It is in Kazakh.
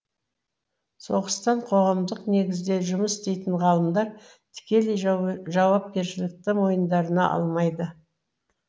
соғыстан қоғамдық негізде жұмыс істейтін ғалымдар тікелей жауапкершілікті мойындарына алмайды